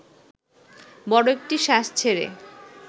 বড় একটি শ্বাস ছেড়ে